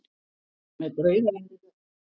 Með draugalegri rödd.